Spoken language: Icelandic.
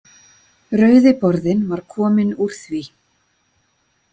Rauði borðinn var kominn úr því.